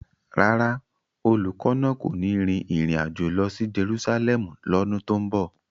Rárá, olùkọ́ náà kò ní rin ìrìn àjò lọ sí Jerusalẹmu lọ́dún tó ń bọ̀.